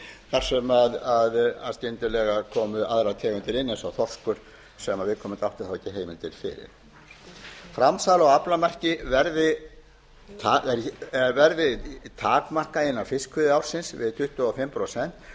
þar sem skyndilega komu aðrar tegundir inn eins og þorskur sem viðkomandi átti þá ekki heimildir til framsal á aflamarki verði takmarkað innan fiskveiðiársins við tuttugu og fimm prósent